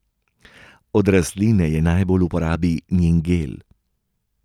Od rastline je najbolj v uporabi njen gel.